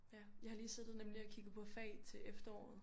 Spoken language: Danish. Ja jeg har lige siddet og nemlig og kigget på fag til efteråret